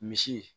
Misi